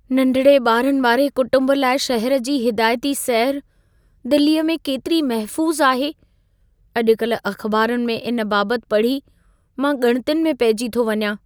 नंढिड़े ॿारनि वारे कुटुंब लाइ शहर जी हिदायती सैरु, दिल्लीअ में केतिरी महफ़ूसु आहे? अॼुकल्ह अख़्बारुनि में इन बाबतु पढ़ी मां ॻणितियुनि में पहिजी थो वञां।